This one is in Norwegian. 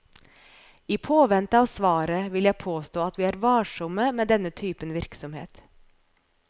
I påvente av svaret vil jeg påstå at vi er varsomme med denne typen virksomhet.